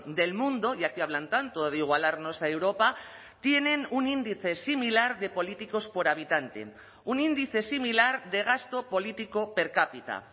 del mundo ya que hablan tanto de igualarnos a europa tienen un índice similar de políticos por habitante un índice similar de gasto político per cápita